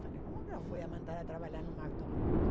Falei, como que eu vou mandar trabalhar no McDonald's?